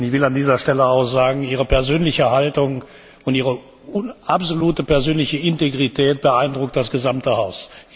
Ich will an dieser Stelle auch sagen Ihre persönliche Haltung und Ihre absolute persönliche Integrität beeindrucken das gesamte Haus.